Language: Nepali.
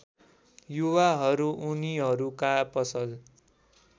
युवाहरू उनीहरूका पसल